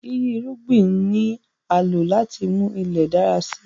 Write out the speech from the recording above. Yíyí irúgbìn ni a lò láti mú Ilẹ̀ dára si